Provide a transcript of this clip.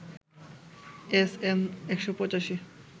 SN ১৮৫